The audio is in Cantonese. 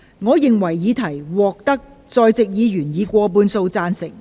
我認為議題獲得在席議員以過半數贊成。